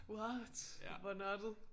What hvor nørdet